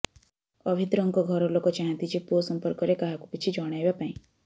ଅଭିନ୍ଦ୍ରଙ୍କ ଘର ଲୋକ ଚାହାଁନ୍ତି ଯେ ପୁଅ ସମ୍ପର୍କରେ କାହାକୁ କିଛି ଜଣାଇବା ପାଇଁ